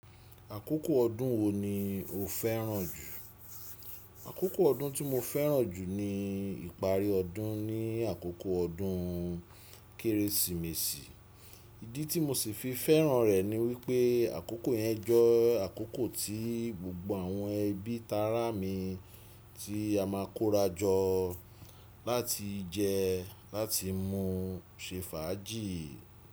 Àkókò ọdún wo ni o fẹ́ràn jù? Àkókò ọdún tí mo fẹ́ràn jù ni ìparí ọdún ní àkókò ọdún Kérésìmesì. Ìdí tí mo sì fi fẹ́ràn rẹ̀ ni wípé àkókò yẹn je àkókò tí gbogbo àwọn ẹbí t'ará mi tí a máa kóra jọ láti jẹ, láti mú, ṣe fàájì.